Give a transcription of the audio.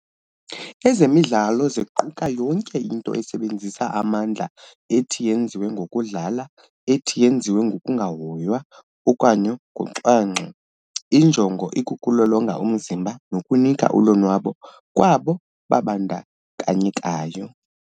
Ezemidlalo ziquka yonke into esebenzisa amandla ethi yenziwe ngokudlala ethi yenziwe ngokungahoywa okanye ngocwangco injongo ikuku lolonga umzimba nokunika ulonwabo kwabo babandakanyekayo.